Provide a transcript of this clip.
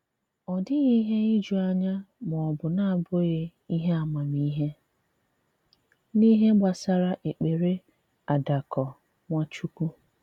Ọ dịghị ihe iju anya ma ọ bụ na-abụghị ihe amamihe n’ihe gbasara èkpere àdàkọ̀ Nwachukwu.